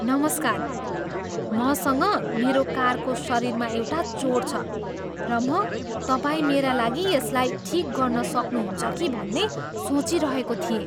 नमस्कार! मसँग मेरो कारको शरीरमा एउटा चोट छ, र म तपाईँ मेरा लागि यसलाई ठिक गर्न सक्नुहुन्छ कि भन्ने सोचिरहेको थिएँ।